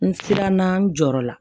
N siranna n jɔrɔ la